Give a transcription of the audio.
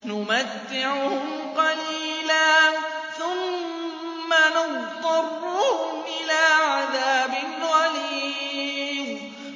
نُمَتِّعُهُمْ قَلِيلًا ثُمَّ نَضْطَرُّهُمْ إِلَىٰ عَذَابٍ غَلِيظٍ